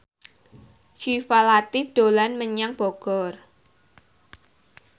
Syifa Latief dolan menyang Bogor